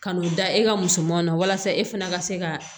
Ka n'o da e ka musomanu na walasa e fana ka se ka